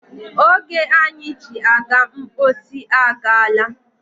Oge anyị ji aga mposi agaala.